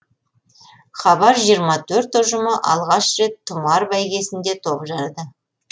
хабар жиырма төрт ұжымы алғаш рет тұмар бәйгесінде топ жарды